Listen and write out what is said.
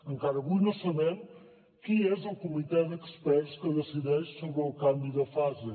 encara avui no sabem qui és el comitè d’experts que decideix sobre el canvi de fase